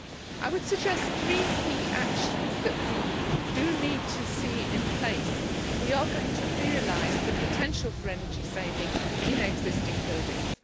I would suggest three key actions that we need to see in place if we are going to realise the potential for energy saving in existing buildings.